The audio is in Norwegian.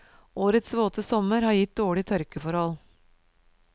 Årets våte sommer har gitt dårlige tørkeforhold.